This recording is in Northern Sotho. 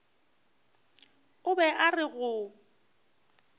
o be a re go